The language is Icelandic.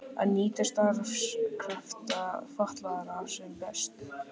Að nýta starfskrafta fatlaðra sem best.